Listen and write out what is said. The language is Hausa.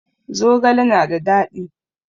Zogale na da dadi.